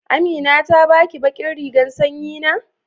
Amina ta ba ki ɓaƙin rigan sanƴi na?